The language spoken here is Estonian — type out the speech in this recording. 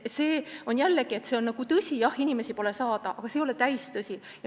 See on tõsi, jah, et inimesi pole saada, aga see ei ole täistõsi.